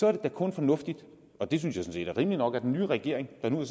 er det da kun fornuftigt og det synes jeg sådan set er rimeligt nok at den nye regering der nu har